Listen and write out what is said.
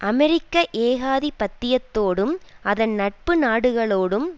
அமெரிக்க ஏகாதிபத்தியத்தோடும் அதன் நட்பு நாடுகளோடும்